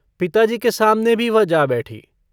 पिताजी के सामने भी वह जा बैठी।